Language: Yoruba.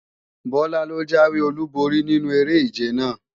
Bọlá ló jáwé olúborí nínu eré-ìje lánàá